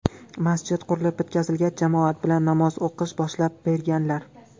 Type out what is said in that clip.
Masjid qurilib bitkazilgach, jamoat bilan namoz o‘qishni boshlab berganlar.